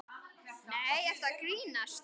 Nei, ertu að grínast?